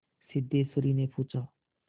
सिद्धेश्वरीने पूछा